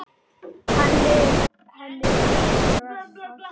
Henni yrði refsað.